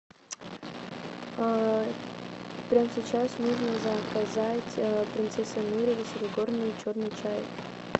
прямо сейчас нужно заказать принцесса нури высокогорный черный чай